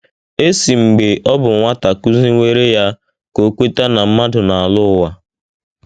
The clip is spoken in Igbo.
E si mgbe ọ bụ nwata kụziwere ya ka o kweta na mmadụ na - alọ ụwa.